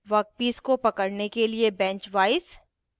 workpiece को पकड़ने के लिए बेंच वाइस